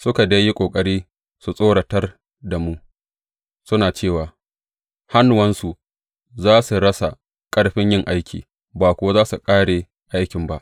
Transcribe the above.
Suka dai yi ƙoƙari su tsoratar da mu, suna cewa, Hannuwansu za su rasa ƙarfin yin aiki, ba kuwa za su ƙare aikin ba.